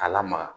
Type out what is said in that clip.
A lamaga